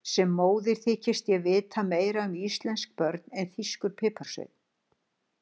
Sem móðir þykist ég vita meira um íslensk börn en þýskur piparsveinn.